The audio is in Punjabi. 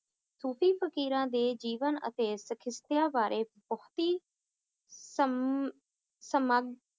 ਸੂਫ਼ੀ ਫਕੀਰਾਂ ਦੇ ਜੀਵਨ ਅਤੇ ਬਾਰੇ ਬਹੁਤੀ ਸਮ~ ਸਮਾਗ~